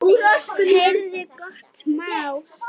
Heyrðu, gott mál!